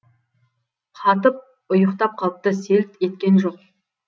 қатып ұйықтап қалыпты селт еткен жоқ